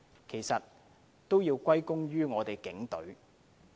其實也要歸功於我們的警隊的努力。